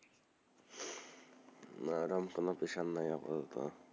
না এরোম তো নাই কোনো pressure আপাতত,